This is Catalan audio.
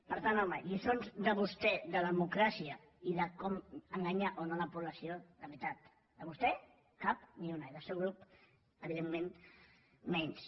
per tant home lliçons de vostè de democràcia i de com enganyar o no la població la veritat de vostè cap ni una i del seu grup evidentment menys